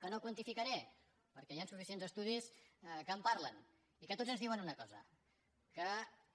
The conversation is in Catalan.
que no quantificaré perquè hi han suficients estudis que en parlen i que tots ens diuen una cosa que